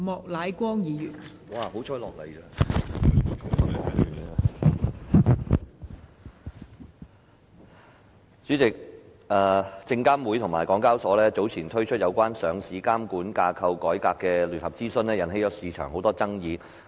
代理主席，證券及期貨事務監察委員會及香港交易及結算所有限公司早前推出有關上市監管架構改革的聯合諮詢，引起市場很多爭議。